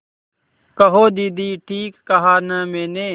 कहो दीदी ठीक कहा न मैंने